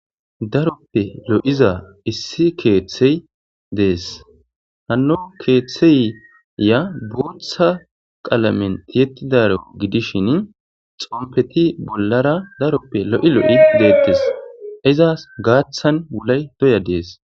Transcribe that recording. Daroppe lo'iza issi keeththey deessi. Hanno keeththeya guuththa qalamen tiyetidaro gidishin xonfeti bollara daroppe lo'i lo'i de'ettees. Izas gaaththan wulay doya deessi.